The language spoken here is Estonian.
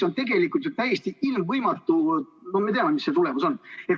Aga selle on täiesti ilmvõimatu, me ju teame, mis tulemus on.